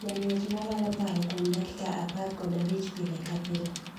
Jang'wech malalo paro kuom dakika apar kod abich pile kapile.